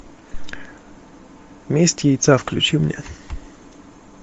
месть яйца включи мне